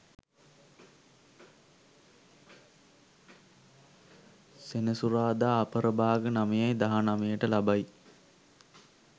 සෙනසුරාදා අපරභාග 9.19 ට ලබයි.